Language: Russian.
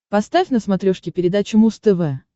поставь на смотрешке передачу муз тв